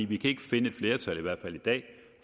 vi kan ikke finde et flertal i hvert fald i dag